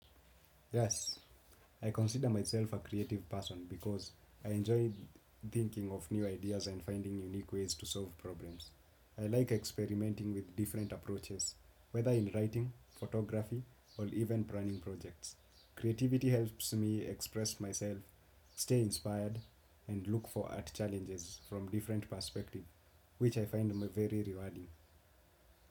Yes, I consider myself a creative person because I enjoy thinking of new ideas and finding unique ways to solve problems. I like experimenting with different approaches, whether in writing, photography, or even planning projects. Creativity helps me express myself, stay inspired, and look for art challenges from different perspectives, which I find very rewarding.